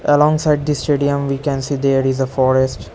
Alongs at the stadium we can see there is a forest.